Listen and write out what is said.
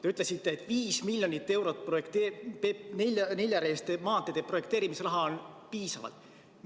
Te ütlesite, et 5 miljonit eurot neljarealiste maanteede projekteerimisraha on piisavalt.